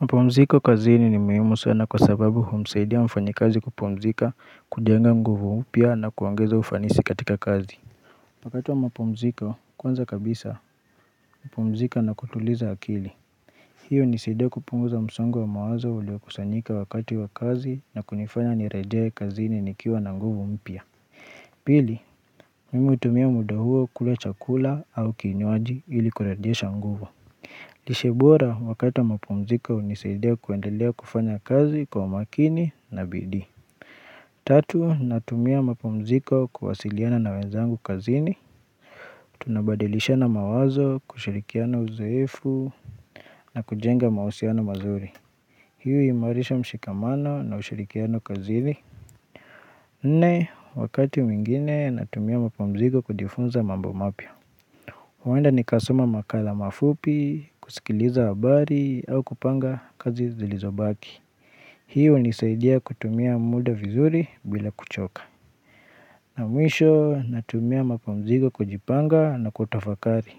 Mapumziko kazini ni muhimu sana kwa sababu humusaidia mfanyikazi kupumzika kujenga nguvu pia na kuongeza ufanisi katika kazi. Wakati wa mapumziko, kwanza kabisa, napumzika na kutuliza akili. Hiyo hunisaidia kupunguza msongo wa mawazo uliokusanyika wakati wa kazi na kunifanya nirejee kazini nikiwa na nguvu mpya. Pili, mimi hutumia muda huo kula chakula au kinywaji ili kurejesha nguvu. Lishe bora wakati mapumziko hunisaidia kuendelea kufanya kazi kwa makini na bidii. Tatu, natumia mapumziko kuwasiliana na wenzangu kazini. Tunabadilishana mawazo kushirikiana uzoefu na kujenga mausiano mazuri. Hi huimarisha mshikamano na ushirikiano kazini. Nne, wakati mwingine natumia mapumziko kujifunza mambo mapya. Huenda nikasoma makala mafupi, kusikiliza habari au kupanga kazi zilizobaki Hii hunisaidia kutumia muda vizuri bila kuchoka na mwisho natumia mapumziko kujipanga na kutafakari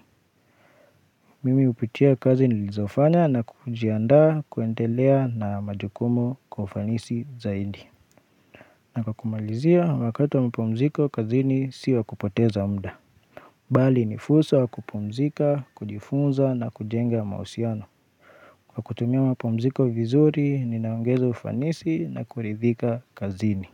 Mimi hupitia kazi nilizofanya na kujiandaa kuendelea na majukumu kwa ufanisi zaidi na kwa kumalizia wakati mapumziko kazini sio wa kupoteza muda Bali ni fursa ya kupumzika, kujifunza na kujenga mausiano kwa kutumia mapumziko vizuri, ninaongeza ufanisi na kuridhika kazini.